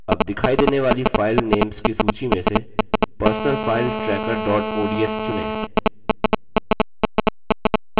अब दिखाई देने वाली file names की सूची में से personal finance tracker dot ods चुनें